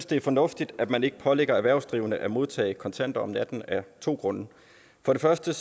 det er fornuftigt at man ikke pålægger erhvervsdrivende at modtage kontanter om natten af to grunde for det første